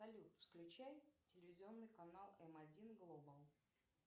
салют включай телевизионный канал м один глобал